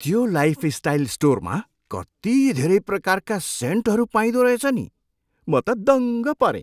त्यो लाइफस्टाइल स्टोरमा कति धेरै प्रकारका सेन्टहरू पाइँदो रहेछ नि। म त दङ्ग परेँ।